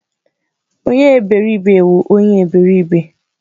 Onye eberibe wu onye eberibe